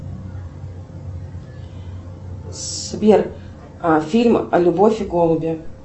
сбер фильм любовь и голуби